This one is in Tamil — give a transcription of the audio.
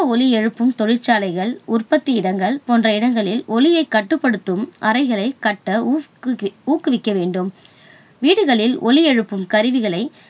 ஒலியெழுப்பும் தொழிற்சாலைகள் உற்பத்தி இடங்கள் போன்ற இடங்களில் ஒலியை கட்டுப்படுத்தும் அறைகளைக் கட்ட ஊக்குவிக்க ஊக்குவிக்க வேண்டும். வீடுகளில் ஒலியெழுப்பும் கருவிகளை